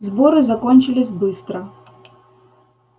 сборы закончились быстро